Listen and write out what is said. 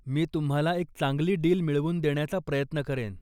मी तुम्हाला एक चांगली डील मिळवून देण्याचा प्रयत्न करेन.